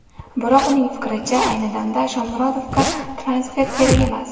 Biroq uning fikricha, ayni damda Shomurodovga transfer kerak emas.